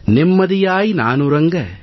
நிம்மதியாய் நான் உறங்க